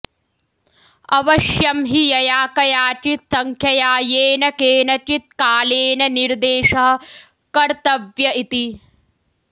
अवश्यं हि यया कयाचित् संख्यया येन केनचित् कालेन निर्देशः कत्र्तव्य इति